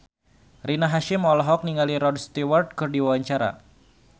Rina Hasyim olohok ningali Rod Stewart keur diwawancara